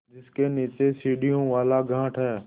जिसके नीचे सीढ़ियों वाला घाट है